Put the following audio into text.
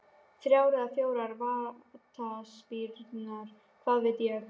Þrjár eða fjórar vítaspyrnur, hvað veit ég?